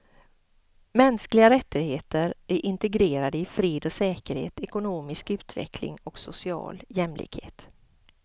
Mänskliga rättigheter är integrerade i fred och säkerhet, ekonomisk utveckling och social jämlikhet.